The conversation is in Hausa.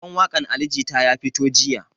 Sabon waƙan ali jita ya fito jiya